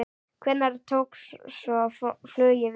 Hvenær tók svo flugið við?